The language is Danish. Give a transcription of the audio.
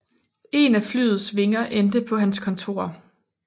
En af flyets vinger endte på hans kontor